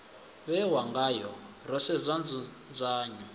vhewa ngayo ro sedza nzudzanyo